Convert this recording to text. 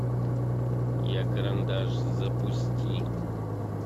я карандаш запусти